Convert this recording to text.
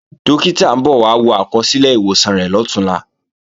Dókítà ń bọ̀ wá wo àkọsílẹ̀ ìwòsàn rẹ̀ lọ̀túnla